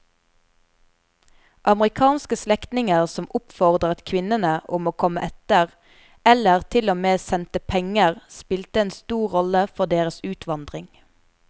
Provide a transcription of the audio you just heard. Amerikanske slektninger som oppfordret kvinnene om å komme etter eller til og med sendte penger spilte en stor rolle for deres utvandring.